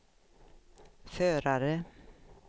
förare